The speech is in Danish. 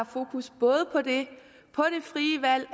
fokus på det frie valg